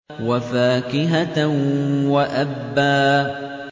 وَفَاكِهَةً وَأَبًّا